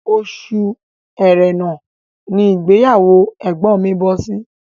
Oṣù ẹrẹ́nà ní ìgbéyàwó ẹ̀gbọ́n mi bọ́ sí